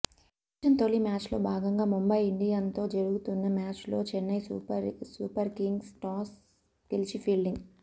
ఈ సీజన్ తొలి మ్యాచ్లో భాగంగా ముంబై ఇండియన్స్తో జరుగుతున్న మ్యాచ్లో చెన్నై సూపర్కింగ్స్ టాస్ గెలిచి ఫీల్డింగ్